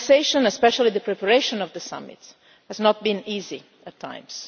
The conversation especially the preparation of the summit has not been easy at times.